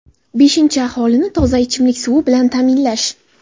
Beshinchisi — aholini toza ichimlik suvi bilan ta’minlash.